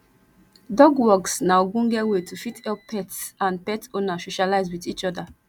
dog walks na ogbonge way to fit help pets and pet owner socialize with each oda